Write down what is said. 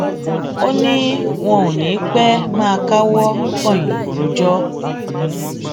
ó ní wọn ò ní í pẹẹ máa káwọ pọnyìn rojọ